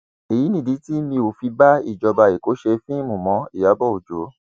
èyí nìdí tí mi ò fi bá ìjọba èkó ṣe fíìmù mọ ìyàbọ ọjọ